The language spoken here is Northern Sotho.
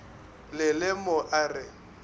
le le mo a re